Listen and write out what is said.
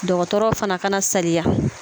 Dɔgɔtɔrɔ fana kana saliya